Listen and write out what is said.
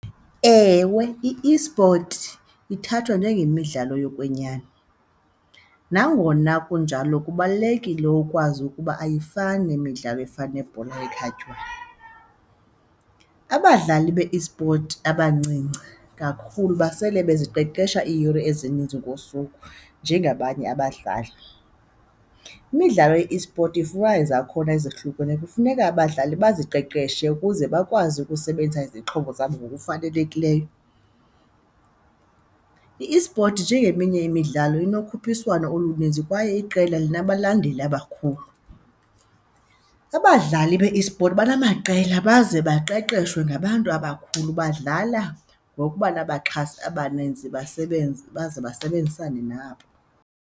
Ewe, i-esport ithathwa njengemidlalo yokwenyani. Nangona kunjalo kubalulekile ukwazi ukuba ayifani nemidlalo efana nebhola ekhatywayo. Abadlali be-esport abancinci kakhulu basele baziqeqesha iiyure ezininzi ngosuku njengabanye abadlali. Imidlalo ye-esport ifunwana izakhona ezohlukeneyo. Kufuneka abadlali baziqeqeshe ukuze bakwazi ukusebenzisa izixhobo zabo ngokufanelekileyo. I-esport njengeminye imidlalo inokhuphiswano oluninzi kwaye iqela linabalandeli abakhulu. Abadlali be-esport banamaqela baze baqeqeshwe ngabantu abakhulu, badlala ngokuba nabaxhasi abaninzi basebenze, baze basebenzisane nabo.